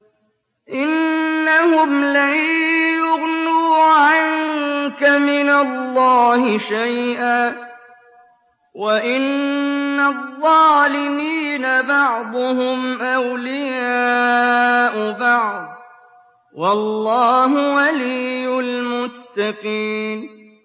إِنَّهُمْ لَن يُغْنُوا عَنكَ مِنَ اللَّهِ شَيْئًا ۚ وَإِنَّ الظَّالِمِينَ بَعْضُهُمْ أَوْلِيَاءُ بَعْضٍ ۖ وَاللَّهُ وَلِيُّ الْمُتَّقِينَ